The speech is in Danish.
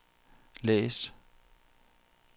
læs